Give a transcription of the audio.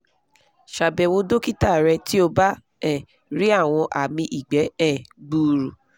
ṣàbẹ̀wò dókítà rẹ̀ tí o bá um rí àwọn àmì igbe um gbuuru